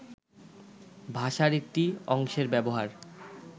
ভাষার একটি অংশের ব্যবহার